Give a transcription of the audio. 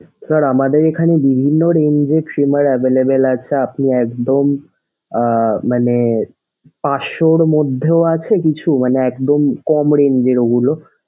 sir আমাদের এখানে বিভিন্ন range এর trimmer available আছে আপনি একদম আহ মানে পাশশোর মধ্যেও আছে কিছু মানে একদম কম range এর ওগুলো,